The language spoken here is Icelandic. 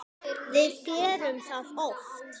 Við gerum það oft.